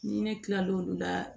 Ni ne kila l'olu la